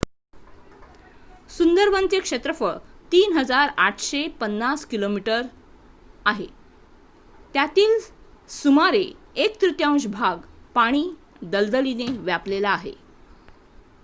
सुंदरवनचे क्षेत्रफळ 3,850 किमी² आहे त्यातील सुमारे 1 तृतीयांश भाग पाणी/दलदलीने व्यापलेला आहे